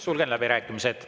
Sulgen läbirääkimised.